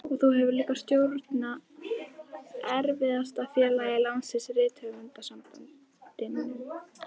Og þú hefur líka stjórnað erfiðasta félagi landsins, Rithöfundasambandinu.